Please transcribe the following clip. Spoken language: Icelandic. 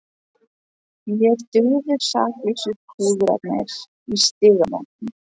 Mér dugðu saklausu púðarnir í Stígamótum!